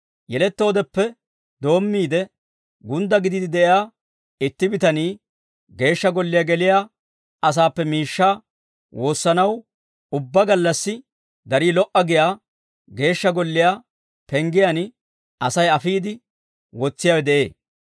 Yelettoodeppe doommiide, gundda gidiide de'iyaa itti bitanii Geeshsha Golliyaa geliyaa asaappe miishshaa woossanaw, ubbaa gallassi darii lo"a giyaa Geeshsha Golliyaa penggiyaan Asay afiide wotsiyaawe de'ee.